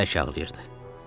Sinəm bərk ağrıyırdı.